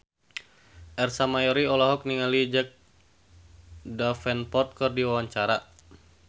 Ersa Mayori olohok ningali Jack Davenport keur diwawancara